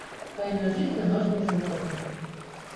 тайная жизнь домашних животных